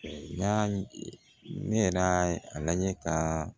N y'a ne yɛrɛ y'a lajɛ ka